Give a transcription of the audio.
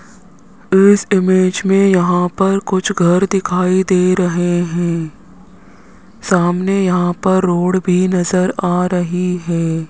इस इमेज में यहां पर कुछ घर दिखाई दे रहे हैं सामने यहां पर रोड भी नजर आ रही है।